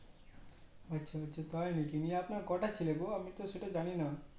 আচ্ছা আচ্ছা তাই নাকি নিয়ে আপনার কটা ছেলে গো আমি আমি তো সেটা জানি না